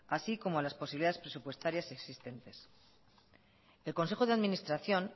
así como a las posibilidades presupuestarias existentes el consejo de administración